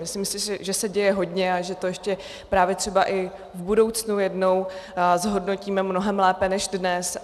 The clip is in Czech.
Myslím si, že se děje hodně a že to ještě právě třeba i v budoucnu jednou zhodnotíme mnohem lépe než dnes.